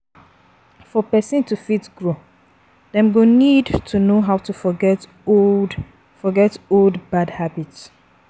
For person to fit grow, dem go need to know how to forget old forget old bad habits